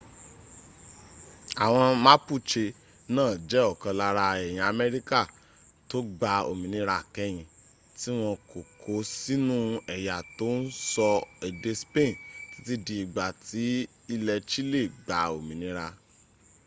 àwọn mapuche náà jẹ́ ọ̀kan lára èèyàn amẹrika tó gba òmìnira kẹ́yìn tí wọn kò kó sínú ẹ̀yà tó ń sọ èdè spain títí di ìgbà tí ilẹ́ chile gba òmìnira